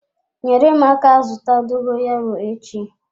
Nyere m aka zụta dogoyaro echi.